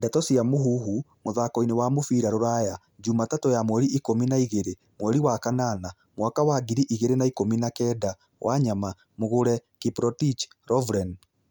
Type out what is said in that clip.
Ndeto cia Mũhuhu, mũthakoini wa mũbĩra rũraya, Jumatatũ ya mweri ikũmi na igĩri, mweri wa kanana, mwaka wa ngiri igĩrĩ na ikumi na kenda:Wanyama, Mugure, Kiprotich,,Lovren